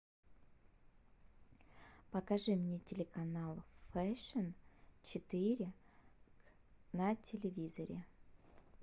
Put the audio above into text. покажи мне телеканал фэшн четыре на телевизоре